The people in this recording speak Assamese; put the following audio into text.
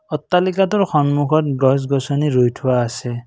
অট্টালিকাটোৰ সন্মুখত গছ গছনি ৰুই থোৱা আছে।